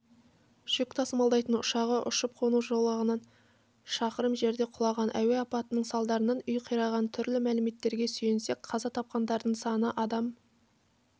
жүк тасымалдайтын ұшағы ұшып-қону жолағынан шақырым жерде құлаған әуе апатының салдарынан үй қираған түрлі мәліметтерге сүйенсек қаза тапқандардың саны адам